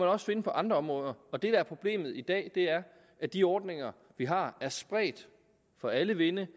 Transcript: også finde på andre områder og det der er problemet i dag er at de ordninger vi har er spredt for alle vinde